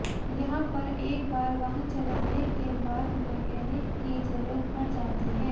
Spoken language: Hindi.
यहां पर एक बार वाहन चलाने के बाद मेकेनिक की जरूरत पड़ जाती है